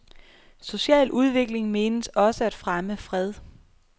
Social udvikling menes også at fremme fred.